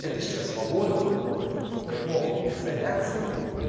это сейчас свобода особенно в эпоху изоляции